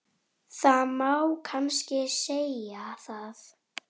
Nú hvað sýnist þér.